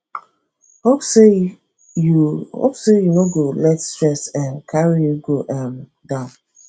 hope say you hope say you no go let stress um carry you go um down